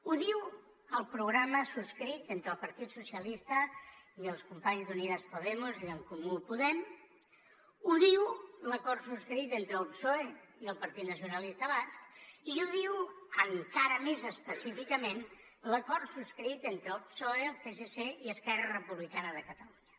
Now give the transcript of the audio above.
ho diu el programa subscrit entre el partit socialista i els companys d’unidas podemos i d’en comú podem ho diu l’acord subscrit entre el psoe i el partit nacionalista basc i ho diu encara més específicament l’acord subscrit entre el psoe el psc i esquerra republicana de catalunya